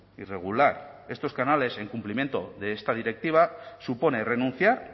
y regular estos canales en cumplimiento de esta directiva supone renunciar